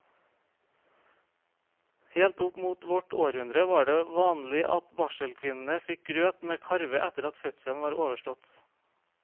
Helt opp mot vårt århundre var det vanlig at barselkvinnene fikk grøt med karve etter at fødselen var overstått.